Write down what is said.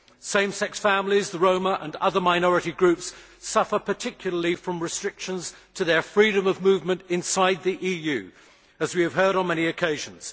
Same sex families, the Roma and other minority groups suffer particularly from restrictions on their freedom of movement inside the EU, as we have heard on many occasions.